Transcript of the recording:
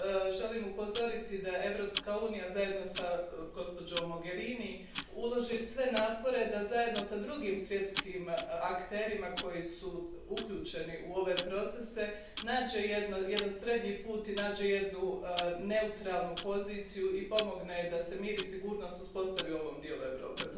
Želim upozoriti da Europska unija, zajedno s gospođom Mogherini, ulaže sve napore da zajedno s drugim svjetskim akterima koji su uključeni u ove procese nađe jedan srednji put i nađe jednu neutralnu poziciju i pomogne da se mir i sigurnost uspostavi u ovom dijelu Europe.